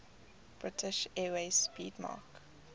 british airways 'speedmarque